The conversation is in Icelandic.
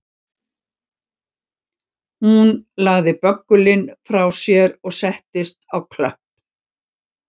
Hún lagði böggulinn frá sér og settist á klöpp